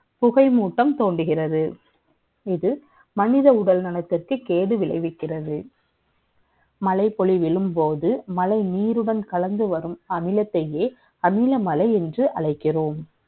புகைமூட்டம் தோன்றுகிறது இது மனித உடல்நலத்திற்கு கேடு விளைவிக்கிறது மலைப்பொழிவின்போது மழை நீருடன் கலந்து வரும் அமிலத்தே அமில மழை என்று அழைக்கிறோம்